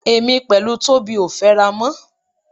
Èmi pẹ̀lú Tóbi ò fẹ́ra mọ́.